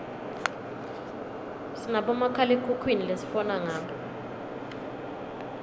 sinabomakhalekhukhwini lesifona ngabo